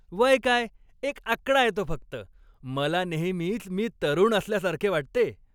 वय काय, एक आकडा आहे तो फक्त. मला नेहमीच मी तरुण असल्यासारखे वाटते.